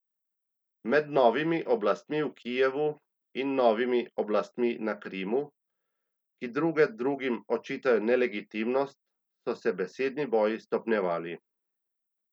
Med novimi oblastmi v Kijevu in novimi oblastmi na Krimu, ki druge drugim očitajo nelegitimnost, so se besedni boji stopnjevali.